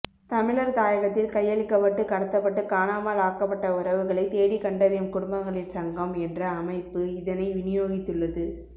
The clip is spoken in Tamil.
தமிழர் தாயகத்தில் கையளிக்கப்பட்டு கடத்தப்பட்டு காணாமல் ஆக்கப்பட்ட உறவுகளை தேடிக்கண்டறியும் குடும்பங்களின் சங்கம் என்ற அமைப்பு இதனை விநியோகித்துள்ளது